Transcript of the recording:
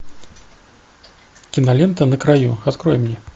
кинолента на краю открой мне